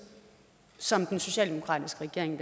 som den socialdemokratiske regering